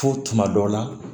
Fo tuma dɔ la